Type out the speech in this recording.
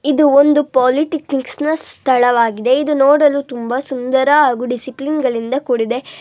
ಇದು ಒಂದು ಸ್ಥಳವಾಗಿದೆ. ಇದು ನೋಡಲು ತುಂಬಾ ಸುಂದರ ಹಾಗೂ ಡಿಸಿಪ್ಲಿನಗಳಿಂದ ಕೂಡಿದೆ.